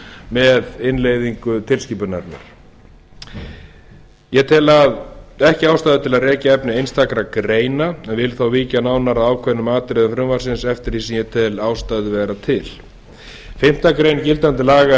með innleiðingu tilskipunarinnar ég tel ekki ástæðu til að rekja efni essntakra greina en vil þó víkja nánar að ákveðnum atriðum frumvarpsins eftir því sem ég tel ástæðu vera til fimmtu grein gildandi laga